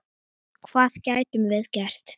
Hvað gætum við gert?